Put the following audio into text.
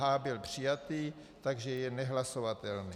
H byl přijatý, takže je nehlasovatelný.